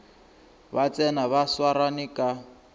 ba tsena ba swarane ka